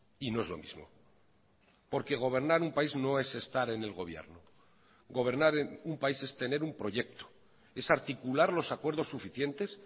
y no es lo mismo porque gobernar un país no es estar en el gobierno gobernar en un país es tener un proyecto es articular los acuerdos suficientes